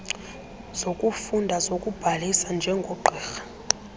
zokufunda zokubhalisa njengogqirha